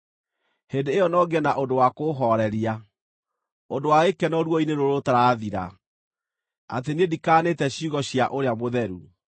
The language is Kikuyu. Hĩndĩ ĩyo no ngĩe na ũndũ wa kũũhooreria, ũndũ wa gĩkeno ruo-inĩ rũrũ rũtarathira, atĩ niĩ ndikaanĩte ciugo cia Ũrĩa Mũtheru.